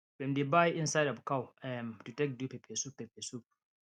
dem dey buy inside of cow um to take do peppersoup peppersoup